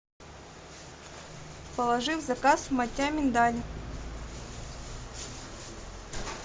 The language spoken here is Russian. положи в заказ маття миндаль